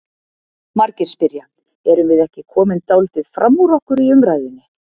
Margir spyrja: Erum við ekki komin dálítið fram úr okkur í umræðunni?